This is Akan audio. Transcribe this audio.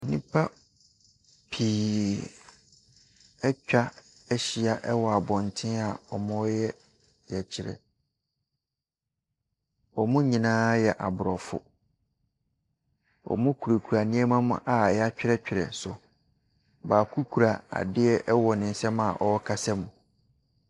Nnipa pii atwa ahyia ɛwɔ abɔnten wɔreyɛ ɔyɛkyerɛ. Wɔn nyinaa yɛ aborɔfo. Wɔkurakura nneɛma a wɔatwerɛtwerɛ so. Baako kura adeɛ ɛwɔ ne nsam a ɔrekasa mu.